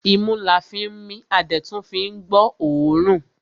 Imú la fín mí a dẹ̀ tún fín gbọ́ ọ̀ọ́rùn.